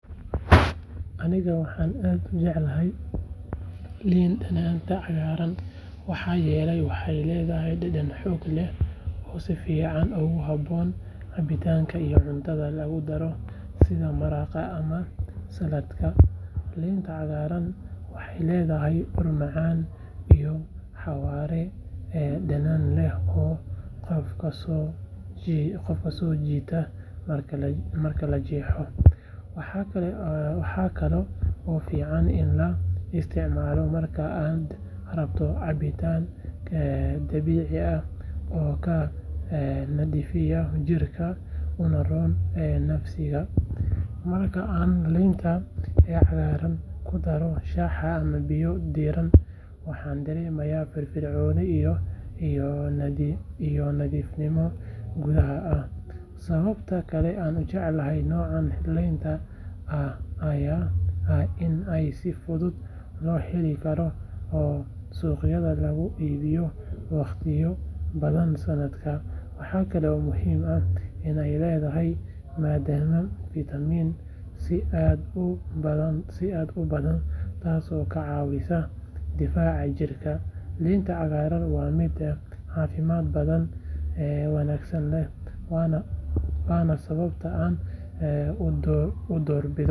Aniga waxaan aad u jeclahay liin dhanaanta cagaaran maxaa yeelay waxay leedahay dhadhan xoog leh oo si fiican ugu habboon cabitaanka iyo cuntada lagu daro sida maraqa ama saladka. Liinta cagaaran waxay leedahay ur macaan iyo xawaare dhadhan leh oo qofka soo jiita marka la jeexayo. Waxaa kaloo fiican in la isticmaalo marka aad rabto cabitaan dabiici ah oo kaa nadiifiya jirka una roon dheefshiidka. Marka aan liinta cagaaran ku daro shaah ama biyo diirran, waxaan dareemaa firfircooni iyo nadiifnimo gudaha ah. Sababta kale aan u jeclahay noocan liinta ah ayaa ah in ay si fudud loo heli karo oo suuqyada lagu iibiyo waqtiyo badan sanadka. Waxa kale oo muhiim ah in ay leedahay maadada fitamiin si aad u badan taasoo ka caawisa difaaca jirka. Liinta cagaaran waa mid caafimaad badan, dhadhan wanaagsan leh, waana sababta aan u doorbido.